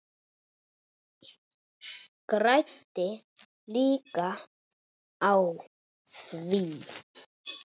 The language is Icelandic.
Græddi líka á því.